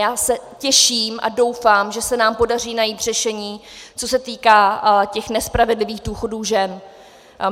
Já se těším a doufám, že se nám podaří najít řešení, co se týká těch nespravedlivých důchodů žen.